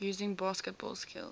using basketball skills